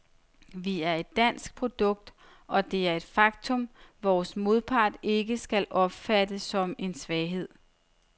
Vi er et dansk produkt, og det er et faktum, vores modpart ikke skal opfatte som en svaghed.